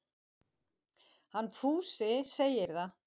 Hann Fúsi segir það.